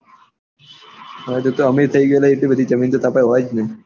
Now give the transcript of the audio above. હા તું તો અમીર થઇ ગયો એટલે બધી જમીન તો તાર પાસે હોય ને